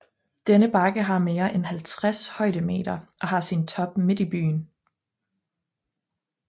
Denne bakke har mere end 50 højdemeter og har sin top midt i byen